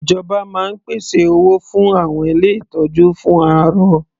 Ìjọba máa ń pèsè owó fún àwọn ilé ìtọ́jú fún arọ.